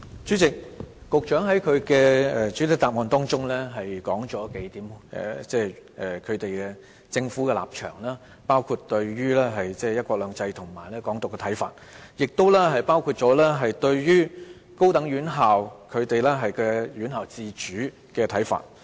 主席，局長在主體答覆中提出數點政府的立場，包括對"一國兩制"和"港獨"的看法，亦包括對高等院校，院校自主的看法。